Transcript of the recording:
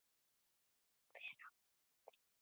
Hver á þennan feril?